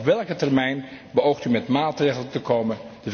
Op welke termijn beoogt u met maatregelen te komen?